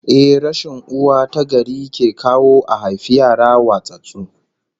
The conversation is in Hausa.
Ehh, rashin uwa tagari ke kawo a haifi yara watsattsu